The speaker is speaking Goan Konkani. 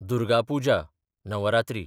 दुर्गा पुजा (नवरात्री)